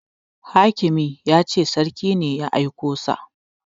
Hakimi ya ce sarki ne ya aiko sa